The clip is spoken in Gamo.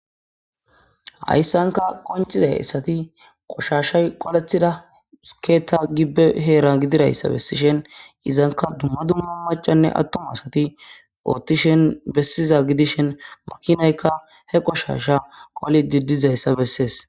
hayssanka qoncizay issati qoshashay qolethida skeeta gibbe heera gidirayssa bessishen izanka dumma dumma macanne attuma asati oothtishen bessiza gidishen murkinaykka he qoshasha qoli didizayssa bessees